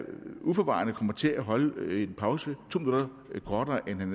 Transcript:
uforvarende kommer til at holde pause to minutter kortere end han